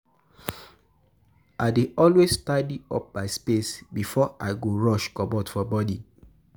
I dey always tidy up my space before I go rush comot for morning.